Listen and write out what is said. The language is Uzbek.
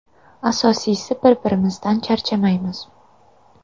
Asosiysi – biz bir-birimizdan charchamaymiz.